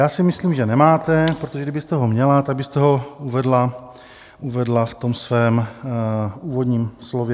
Já si myslím, že nemáte, protože kdybyste ho měla, tak abyste ho uvedla v tom svém úvodním slově.